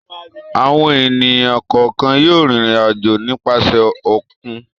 Àwọn ènìyàn kọ̀ọ̀kan yóò rìnrìn-àjò nípasẹ̀ òkun.